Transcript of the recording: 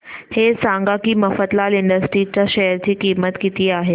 हे सांगा की मफतलाल इंडस्ट्रीज च्या शेअर ची किंमत किती आहे